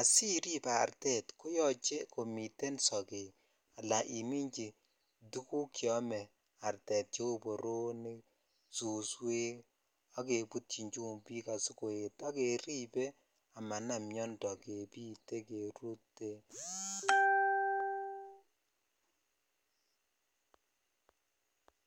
asirip artet koyoche komiten sogek ala imichi tuguk cheome artet cheu boronik suswek ak kebtyin chumbik asikoet ak kerip komanam miondoo kebite kerutee .